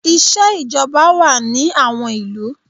Iṣẹ́ ìjọba wà ní àwọn ìlú.